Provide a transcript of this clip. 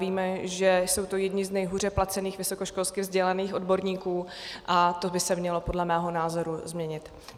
Víme, že jsou to jedni z nejhůře placených vysokoškolsky vzdělaných odborníků, a to by se mělo podle mého názoru změnit.